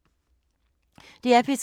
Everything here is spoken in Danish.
DR P3